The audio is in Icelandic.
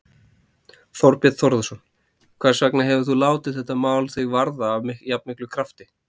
Þorbjörn Þórðarson: Hvers vegna hefur þú látið þetta mál þig varða af jafnmiklum krafti?